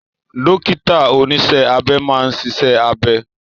Dókítà oníṣẹ́ abẹ máa ń ṣiṣẹ́ abẹ